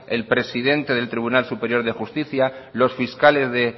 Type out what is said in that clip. el presidente del tribunal superior de justicia los fiscales de